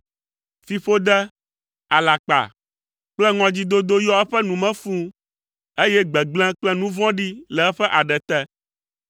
Fiƒode, alakpa kple ŋɔdzidodo yɔ eƒe nu me fũu, eye gbegblẽ kple nu vɔ̃ɖi le eƒe aɖe te.